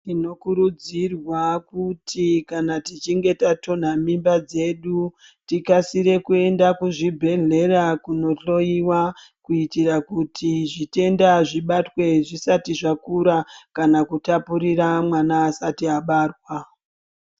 Tinokurudzirwa kuti kana tichinge tatonha mimba dzedu tikasire kuenda kuzvibhedhlera kunohloyiwa kuitira kuti zvitenda zvibatwe zvisati zvakura kana kutapurira mwana asati abarwa.